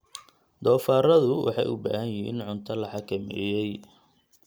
Doofaarradu waxay u baahan yihiin cunto la xakameeyey.